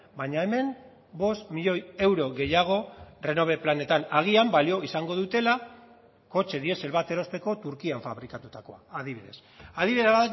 baina hemen bost milioi euro gehiago renove planetan agian balio izango dutela kotxe diesel bat erosteko turkian fabrikatutakoa adibidez adibide